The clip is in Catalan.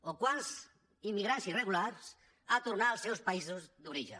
o quants immigrants irregulars han tor·nat als seus països d’origen